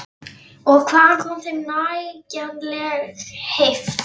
Og hvaðan kom þeim nægjanleg heift?